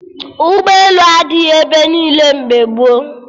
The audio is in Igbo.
Ụgbọelu adịghị ebe niile mgbe gboo